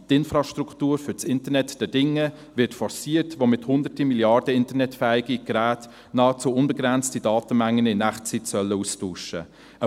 Die Infrastruktur für das Internet der Dinge wird forciert, womit Hunderte Milliarden internetfähige Geräte nahezu unbegrenzte Datenmengen in Echtzeit austauschen sollen.